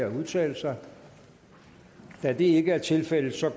at udtale sig det er ikke tilfældet og så